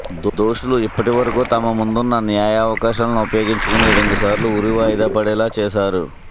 దోషులు ఇప్పటి వరకూ తమ ముందున్న న్యాయ అవకాశాలను ఉపయోగించుకొని రెండు సార్లు ఉరి వాయిదా పడేలా చేశారు